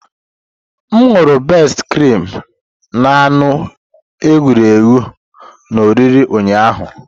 M ṅụru bestị krim na anụ eghere eghe na oriri ụnyaahụ.